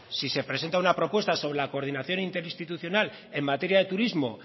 si se presenta una propuesta sobre la coordinación interinstitucional en materia de turismo